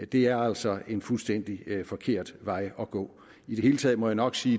det er altså en fuldstændig forkert vej at gå i det hele taget må jeg nok sige